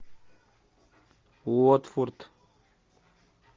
уотфорд